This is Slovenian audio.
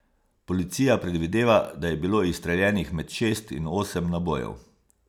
Policija predvideva, da je bilo izstreljenih med šest in osem nabojev.